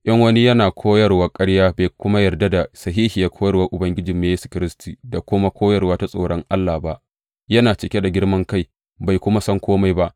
In wani yana koyarwar ƙarya bai kuma yarda da sahihiyar koyarwar Ubangijinmu Yesu Kiristi da kuma koyarwa ta tsoron Allah ba, yana cike da girman kai bai kuma san kome ba.